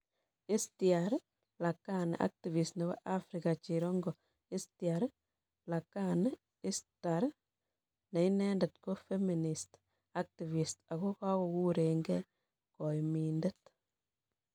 Ishtar Lakhani Activist nebo afrika cherongo IshtarLakhani Ishtar ne inendet ko feminist, activist ak kogurenge " koimindet"